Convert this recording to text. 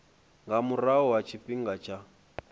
nga murahu ha tshifhinga tsha